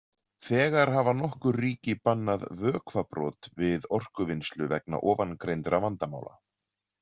Þegar hafa nokkur ríki bannað vökvabrot við orkuvinnslu vegna ofangreindra vandamála.